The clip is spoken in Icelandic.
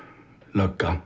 lögga